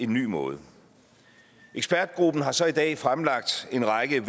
ny måde ekspertgruppen har så i dag fremlagt en række